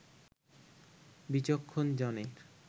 বিচক্ষণ জনের